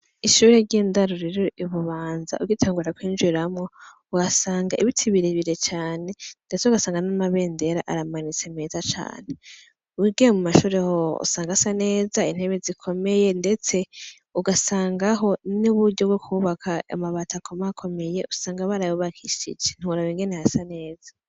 Ishuri ry'indaruriro ububanza ugitengura kwinjiramwo wasanga ibitibiribire cane, ndetse ugasanga n'amabendera aramanitse meza cane wigiye mu mashure ho usanga asa neza intebe zikomeye, ndetse ugasangaho n'uburyo bwo kubaka amabata akomakomeye usanga barabubakishije bingeneha sa neza.